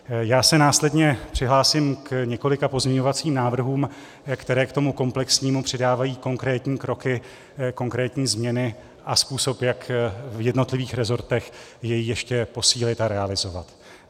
Já se následně přihlásím k několika pozměňovacím návrhům, které k tomu komplexnímu přidávají konkrétní kroky, konkrétní změny a způsob, jak v jednotlivých resortech jej ještě posílit a realizovat.